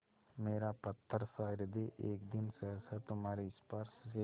मेरा पत्थरसा हृदय एक दिन सहसा तुम्हारे स्पर्श से